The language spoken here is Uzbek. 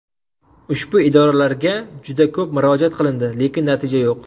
Ushbu idoralarga juda ko‘p murojaat qilindi, lekin natija yo‘q.